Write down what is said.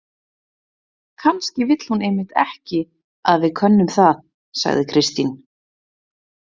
Kannski vill hún einmitt ekki að við könnum það, sagði Kristín.